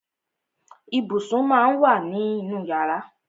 Ibùsùn má ń wà nínú yàrá.